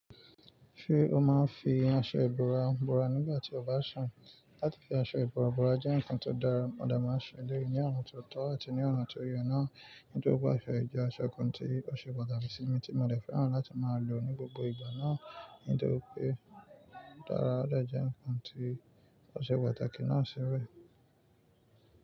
Ṣé o máa ń fi aṣọ ìbora bora nígbà tí o bá ń ṣun? Láti fi aṣọ ìbora bora jẹ́ nǹkan tó dára, mọ̀ de máa ń ṣeleyi ní ọ̀nà tó tọ́ àti ní ọ̀nà tó ye na. Nítorí pé aṣọ ìjọ, aṣọ kan tí ó ṣe pàtàkì sí mi tí mo le fẹ́ràn láti máa lò ní gbogbo ìgbà náà nítorí pé ó dára, ó jẹ nǹkan tí ó ṣe pàtàkì náà sì rẹ.